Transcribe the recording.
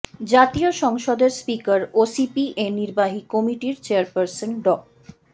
জাতীয় সংসদের স্পিকার ও সিপিএ নির্বাহী কমিটির চেয়ারপারসন ড